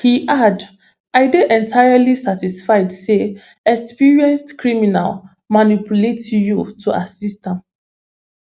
im add i dey entirely satisfied say experienced criminal manipulate you to assist am